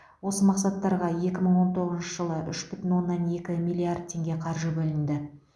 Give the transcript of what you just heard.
осы мақсаттарға екі мың он тоғызыншы жылы үш бүтін оннан екі миллиард теңге қаржы бөлінді